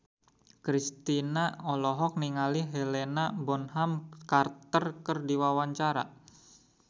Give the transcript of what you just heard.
Kristina olohok ningali Helena Bonham Carter keur diwawancara